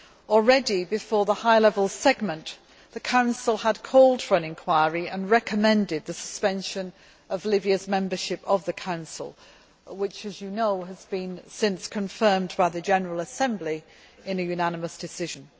Already before the High Level Segment, the Council had called for an inquiry and recommended the suspension of Libya's membership of the Council which, as you know, has since been confirmed by the General Assembly in a unanimous decision.